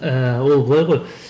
ііі ол былай ғой